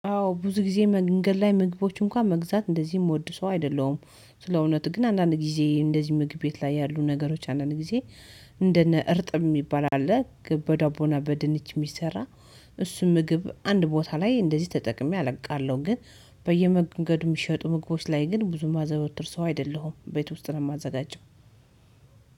አዎ ብዙ ጊዜ መንገድ ላይ ምግቦች እንኳን መግዛት እንደዚህ የምወድ ሰው አይደለሁም። ስለ እውነት ግን አንዳንድ ጊዜ እንደዚህ ምግብ ቤት ላይ ያሉ ነገሮች አንዳንድ ጊዜ እንደነ እርጥብ የሚባል አለ። ግብ በዳቦና በድንች የሚሰራ እሱም ምግብ አንድ ቦታ ላይ እንደዚህ ተጠቅሜ አቃለሁ። ግን በየመንገዱ የሚሸጡ ምግቦች ላይ ግን ብዙ ማዘወትር ሰው አይደለሁም ቤት ውስጥ ነው የማዘጋጀው።